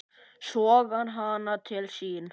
Sogar hana til sín.